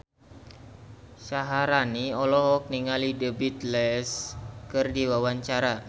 Syaharani olohok ningali The Beatles keur diwawancara